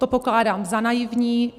To pokládám za naivní.